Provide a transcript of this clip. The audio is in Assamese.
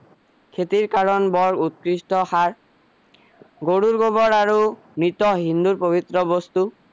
খেতিৰ কাৰণে বৰ উৎকৃষ্ট সাৰ গৰু গোবৰ আৰু মৃত হিন্দু পবিত্ৰ বস্তু